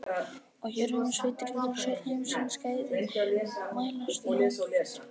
Og hér um sveitir virðast öll heimsins gæði mælast í hangikjöti.